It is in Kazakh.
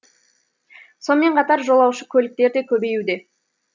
сонымен қатар жолаушы көліктер де көбеюде